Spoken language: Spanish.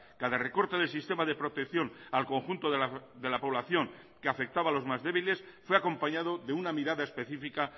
cada recorte del sistema de protección al conjunto de la población que afectaba a los más débiles fue acompañado de una mirada específica